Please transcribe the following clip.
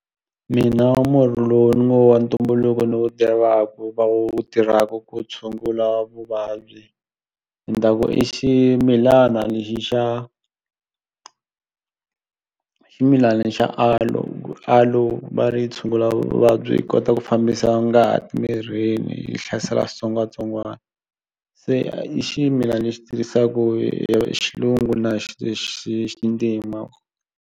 Mina wa murhi lowu ni ngo wa ntumbuluko ni wu tivaku va wu tirhaku ku tshungula vuvabyi ni ta ku i ximilana lexi xa ximilana xa aloe, aloe va ri tshungula vuvabyi yi kota ku fambisa ngati mirini yi hlasela xitsongwatsongwani se i ximilana lexi tirhisaku hi hi xilungu na xintima.